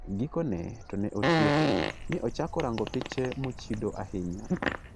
Gikone, ne otieko, mi ochako rango piche mochido ahinya.